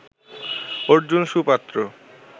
Arjun সুপাত্র